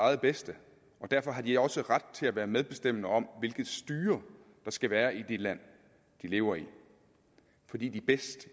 eget bedste og derfor har de også ret til at være medbestemmende om hvilket styre der skal være i det land de lever i fordi de bedst